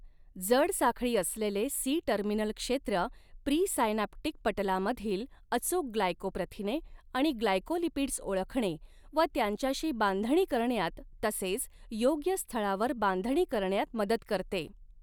जड साखळी असलेले सी टर्मिनल क्षेत्र, प्रीसायनॅप्टिक पटलामधील अचूक ग्लायकोप्रथिने आणि ग्लायकोलिपिड्स ओळखणे व त्यांच्याशी बांधणी करण्यात तसेच योग्य स्थळावर बांधणी करण्यात मदत करते.